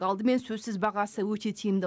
алдымен сөзсіз бағасы өте тиімді